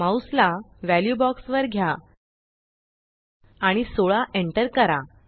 mouse ला value box वर घ्या आणि 16 एंटर करा